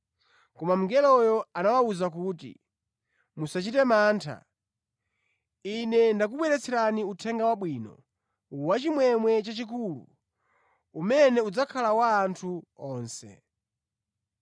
Koma mngeloyo anawawuza kuti, “Musachite mantha. Ine ndakubweretserani Uthenga Wabwino wachimwemwe chachikulu umene udzakhala wa anthu onse.